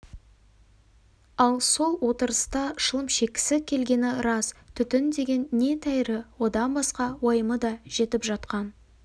ал сол отырыста шылым шеккісі келгені рас түтін деген не тәйірі одан басқа уайымы да жетіп жатқан